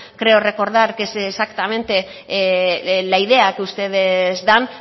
creo recordar que es exactamente la idea que ustedes dan